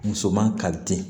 Muso man kali den